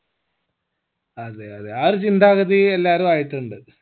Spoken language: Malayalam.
അതെ അതെ ആ ഒരു ചിന്താഗതി എല്ലാരും ആയിട്ടിണ്ട്